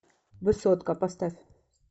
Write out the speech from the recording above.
высотка поставь